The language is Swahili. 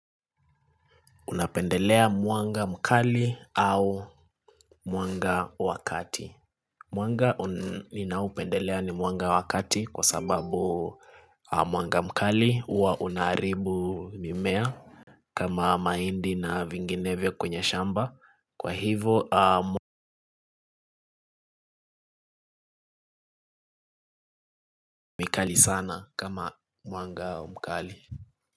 Unapendelea mwanga mkali au mwanga wa kati mwanga ninaupendelea ni mwanga wakati kwa sababu mwanga mkali huwa unaharibu mimea. Kama mahindi na vinginevyo kwenye shamba kwa hivyo mikali sana kama mwanga mkali.